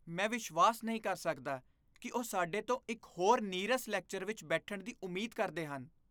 ਮੈਂ ਵਿਸ਼ਵਾਸ ਨਹੀਂ ਕਰ ਸਕਦਾ ਕਿ ਉਹ ਸਾਡੇ ਤੋਂ ਇੱਕ ਹੋਰ ਨੀਰਸ ਲੈਕਚਰ ਵਿੱਚ ਬੈਠਣ ਦੀ ਉਮੀਦ ਕਰਦੇ ਹਨ।